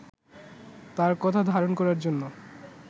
তাঁর কথা ধারণ করার জন্য